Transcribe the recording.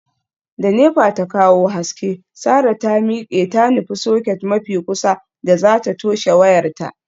Da nepa ya kawo haske, sarah ta miqe ta nufi socket mafi kusa da zata toshe wayarta.